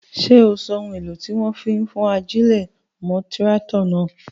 Ṣé o so ohun èlò tí wọ́n fi ń ajílẹ̀ mọ́ tíráátọ̀ náà?